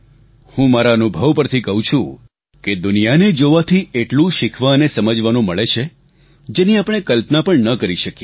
હું મારા અનુભવ પરથી કહું છું કે દુનિયાને જોવાથી એટલું શીખવા અને સમજવાનું મળે છે જેની આપણે કલ્પના ન કરી શકીએ